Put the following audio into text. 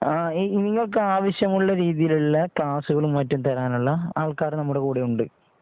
നിങ്ങൾക്ക് ആവശ്യമുള്ള രീതിയിലുള്ള കാൾ ക്ലാസുകൾമറ്റും തരാനുള്ള ആൾക്കാർ നമ്മുടെ കൂടെയുണ്ട്.